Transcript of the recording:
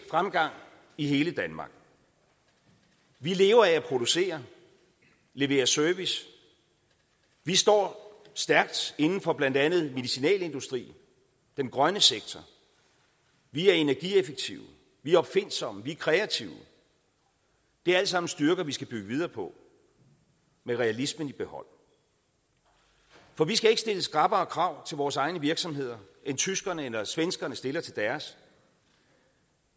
fremgang i hele danmark vi lever af at producere og levere service vi står stærkt inden for blandt andet medicinalindustrien og den grønne sektor vi er energieffektive vi er opfindsomme vi er kreative det er alt sammen styrker vi skal bygge videre på med realismen i behold for vi skal ikke stille skrappere krav til vores egne virksomheder end tyskerne eller svenskerne stiller til deres